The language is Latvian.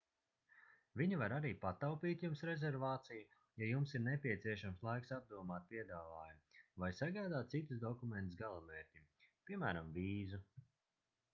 viņi var arī pataupīt jums rezervāciju ja jums ir nepieciešams laiks apdomāt piedāvājumu vai sagādāt citus dokumentus galamērķim piem. vīzu